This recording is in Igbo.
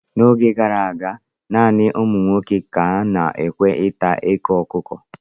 N'oge gara aga, naanị ụmụ nwoke ka a na-ekwe ịta eko ọkụkọ.